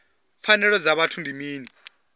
pfanelo dza vhuthu ndi mini